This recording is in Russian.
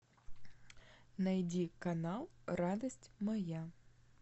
найди канал радость моя